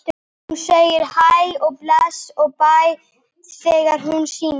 Hún segir hæ og bless og bæ þegar henni sýnist!